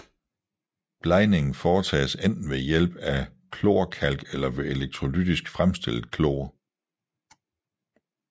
Blegningen foretages enten ved hjælp af klorkalk eller ved elektrolytisk fremstillet klor